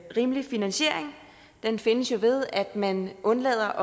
rimelig finansiering den findes jo ved at man undlader